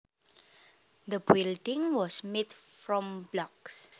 The building was made from blocks